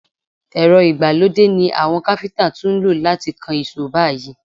Èrọ ìgbàlódé ni àwọn káfíntà tún lò láti kan ìṣó báyìí.